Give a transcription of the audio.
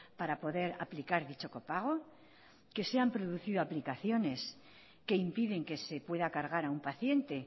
para poder aplicar dicho copago que se han producido aplicaciones que impiden que se pueda cargar a un paciente